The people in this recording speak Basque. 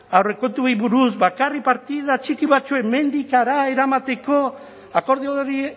aurrekontuei buruz bakarrik partida txiki batzuk hemendik hara eramateko akordio hori